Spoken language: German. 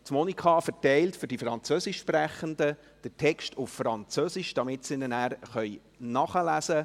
Weibelin Monika Müller verteilt für die Französischsprechenden den Text auf Französisch, damit sie ihn nachlesen können.